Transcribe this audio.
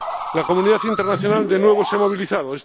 La comunidad internacional, de nuevo, se ha movilizado.